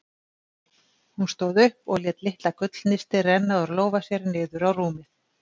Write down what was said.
Hún stóð upp og lét litla gullnistið renna úr lófa sér niður á rúmið.